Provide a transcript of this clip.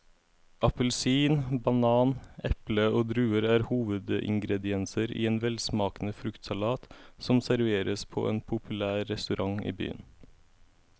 Appelsin, banan, eple og druer er hovedingredienser i en velsmakende fruktsalat som serveres på en populær restaurant i byen.